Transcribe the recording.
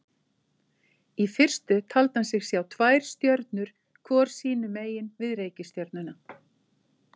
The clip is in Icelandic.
Í fyrstu taldi hann sig sjá tvær stjörnur hvor sínu megin við reikistjörnuna.